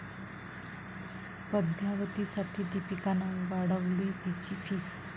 पद्मावती'साठी दीपिकानं वाढवली तिची फीस